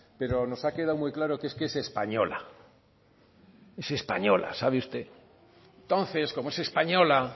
pero nos ha quedado muy claro que es que es española es española sabe usted entonces como es española